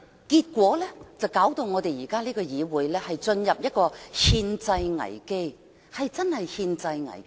結果，現在我們的議會落入了憲制危機，真的是憲制危機。